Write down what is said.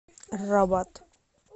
рабат